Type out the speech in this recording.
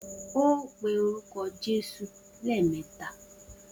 O óò pe orúko̩ lé̩è̩mé̩ta!